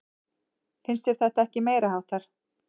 Finnst þér þetta ekki meiriháttar?